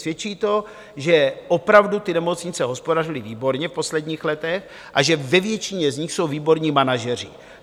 Svědčí to, že opravdu ty nemocnice hospodařily výborně v posledních letech a že ve většině z nich jsou výborní manažeři.